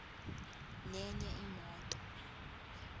nenye imoto